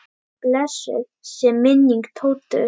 Blessuð sé minning Tótu.